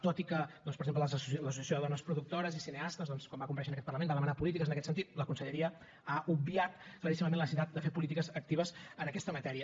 tot i que doncs per exemple l’associació de dones productores i cineastes doncs quan va comparèixer en aquest parlament va demanar polítiques en aquest sentit la conselleria ha obviat claríssimament la necessitat de fer polítiques actives en aquesta matèria